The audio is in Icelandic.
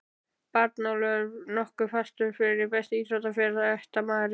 Bjarnólfur nokkuð fastur fyrir Besti íþróttafréttamaðurinn?